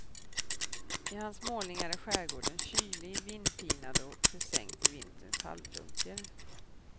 I hans målningar är skärgården kylig, vindpinad och försänkt i vinterns halvdunkel.